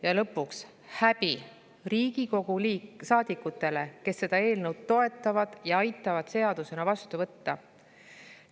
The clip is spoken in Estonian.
Ja lõpuks häbi Riigikogu saadikutele, kes seda eelnõu toetavad ja aitavad seadusena vastu võtta!